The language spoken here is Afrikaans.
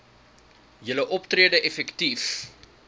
julle optrede effektief